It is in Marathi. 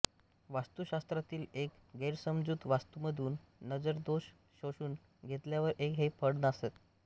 वास्तुशास्त्रातील एक गैरसमजूत वास्तूमधून नजरदोष शोषून घेतल्यावर हे फळ नासते